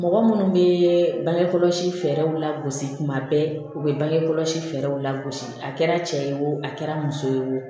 Mɔgɔ minnu bɛ bange kɔlɔsi fɛɛrɛw lagosi kuma bɛɛ u bɛ bange kɔlɔsi fɛɛrɛw lagosi a kɛra cɛ ye wo a kɛra muso ye wo